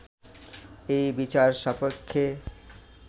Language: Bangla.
এই বিচার-সাপেক্ষে